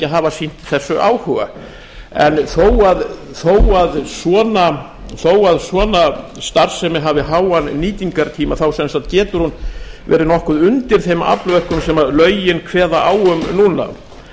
hafa sýnt þessu áhuga þó að svona starfsemi hafi háan nýtingartíma getur hún verið nokkuð undir þeim aflmörkum sem lögin kveða á um núna